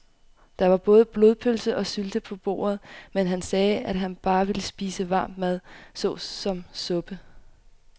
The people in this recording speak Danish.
Der var både blodpølse og sylte på bordet, men han sagde, at han bare ville spise varm mad såsom suppe.